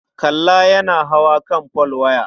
Kalla yana hawa kan folwaya.